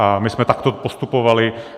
A my jsme takto postupovali.